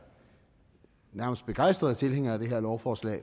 begejstrede tilhængere af det her lovforslag